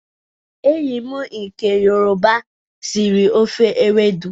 Enyi m nke yoroba siri ofe ewedu